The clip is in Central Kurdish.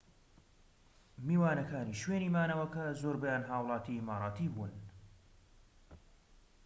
میوانەکانی شوێنی مانەوەکە زۆربەیان هاووڵاتی ئیماراتی بوون‎